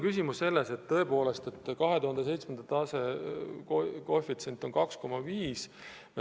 2007. aasta koefitsient oli 2,5.